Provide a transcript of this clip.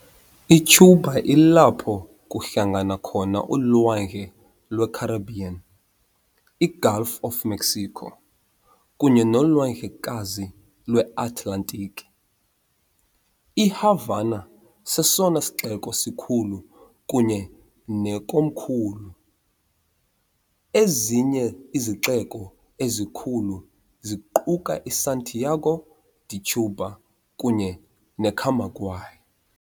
ICuba ilapho kuhlangana khona uLwandle lweCaribbean, iGulf of Mexico, kunye noLwandlekazi lweAtlantiki. IHavana sesona sixeko sikhulu kunye nekomkhulu, ezinye izixeko ezikhulu ziquka iSantiago de Cuba kunye neCamagüey.